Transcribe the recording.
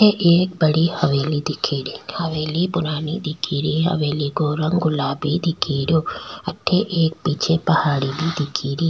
एक बड़ी हवेली दिखी री हवेली पुरानी दिखी री हवेली को रंग गुलाबी दिख रियो अठे एक पीछे पहाड़ी भी दिखी री।